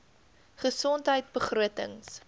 gesondheidbegrotings